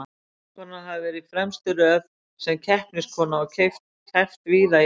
Vinkonan hafði verið í fremstu röð sem keppniskona og keppt víða í Evrópu.